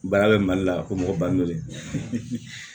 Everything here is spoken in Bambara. Baara bɛ mali la ko mɔgɔ bange